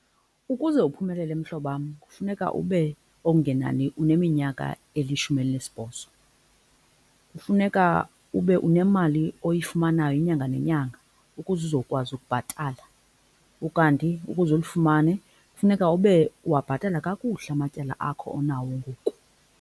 Ukuze uphumelele mhlobam kufuneka ube okungenani uneminyaka elishumi elinesibhozo. Kufuneka ube unemali oyifumanayo inyanga nenyanga ukuze uzokwazi ukubhatala ukanti ukuze ulifumane kufuneka ube uwabhatala kakuhle amatyala akho onawo ngoku.